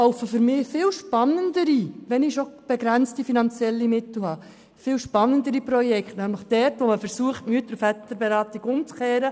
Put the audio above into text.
Wenn ich schon begrenzte finanzielle Mittel habe, laufen für mich viel spannendere Projekte, nämlich dort, wo man versucht, die Mütter- und Väterberatung umzukehren.